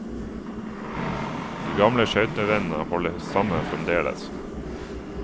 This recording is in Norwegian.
De gamle skøytevennene holder sammen fremdeles.